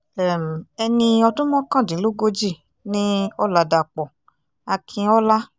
um ẹni ọdún mọ́kàndínlógójì ni ọ̀làdàpọ̀ akínọ́lá